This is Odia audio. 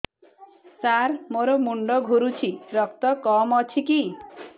ସାର ମୋର ମୁଣ୍ଡ ଘୁରୁଛି ରକ୍ତ କମ ଅଛି କି